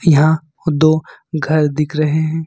यहां दो घर दिख रहे हैं।